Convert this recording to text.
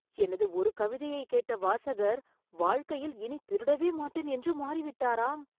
எனது ஒரு கவிதையை கேட்ட வாசகர் வாழ்க்கையில் இனி திருடவே மாட்டேன் என்று மாறிவிட்டாராம்.